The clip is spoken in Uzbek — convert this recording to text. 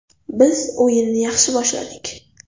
Biz o‘yinni yaxshi boshladik.